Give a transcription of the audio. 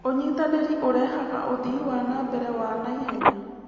ũnyitanĩri ũrehaga ũthii wa na mbere wa naihenya.